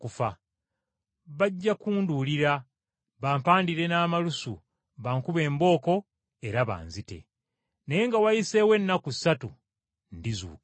Bajja kumuduulira bamuwandire n’amalusu bamukube embooko era bamutte, naye nga wayiseewo ennaku ssatu alizuukira.”